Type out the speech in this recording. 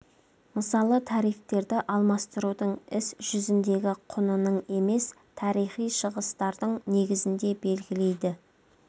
мысалы тарифтерді алмастырудың іс жүзіндегі құнының емес тарихи шығыстардың негізінде белгілейді